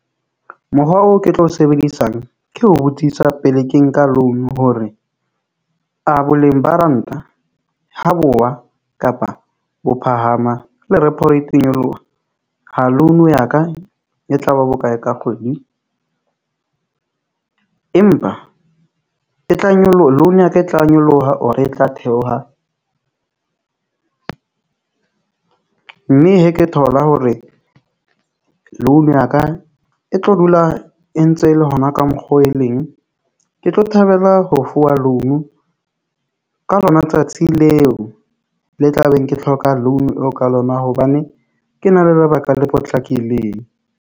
Mokgwa oo ke tlo sebedisang ke ho botsisa pele ke nka loan-u hore a boleng ba ranta ho bo wa kapa bo phahama le repo rate e nyoloha ha loan ya ka e tla ba bokae ka kgwedi, empa e tla loan ya ka e tla nyoloha, or e tla theoha. Mme he ke thola hore loan ya ka e tlo dula a entse le hona ka mokgwa oo e leng. Ke tlo thabela ho fuwa loan-u. Ka lona tsatsi leo le tla beng ke hloka loan-u eo ka lona, hobane ke na le lebaka le potlakileng.